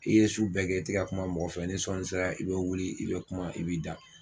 I ye su bɛɛ kɛ i te ka kuma mɔgɔ fɛ ni sɔɔni sera i be wuli i be kuma i b'i da